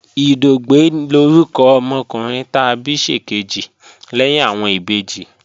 Ìdògbẹ́ lórúkọ ọmọkùnrin ta bí ṣèkejì lẹ́yìn àwọn ìbejì